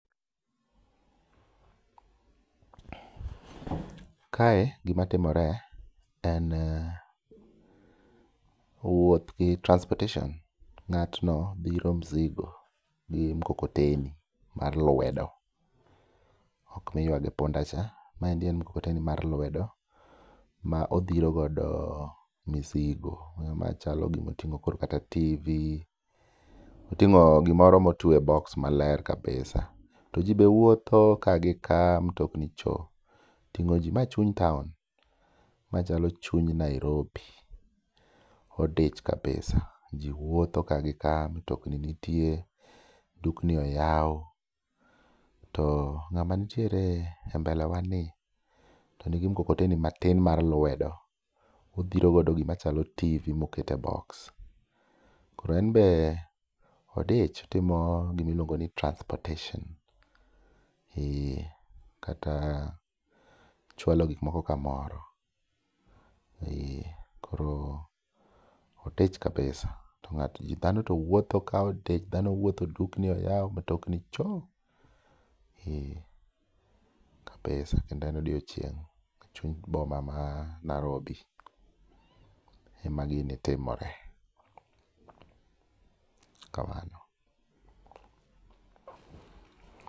Kae gima timore en wuoth gi transportation. Ng'atno dhiro mzigo gi mkokoteni mar lwedo ok miywa gi punda cha. Maendi en mkokoteni mar lwedo ma odhiro godo misigo. Onyalo mana chalo gimoting'o koro kata TV, oting'o gimoro motwe e boks maler kabisa. To ji be wuotho ka gi ka mtokni cho ting'o ji, mae chuny taon. Ma chalo chuny Nairobi, odich kabisa. Ji wuotho ka gi ka, mtokni nitie, dukni oyaw, to ng'ama nitiere e mbele wa ni to nigi mkokoteni matin mar lwedo. Odhiro go gimachalo TV mokete boks. Koro enbe odich otimo gimiluongo ni transportation, ee kata chwalo gik moko kamoro. Ee koro odich kabisa, to dhano to wuotho ka odich dhano wuotho dukni oyaw matokni cho. Ee kabisa kendo en odiochieng' e chuny bomama Narobi. Ema gini timore, kamano.